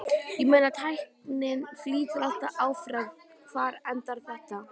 Ég meina tækninni flýtur alltaf áfram, hvar endar þetta?